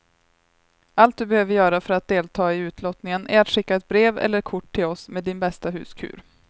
Allt du behöver göra för att delta i utlottningen är att skicka ett brev eller kort till oss med din bästa huskur.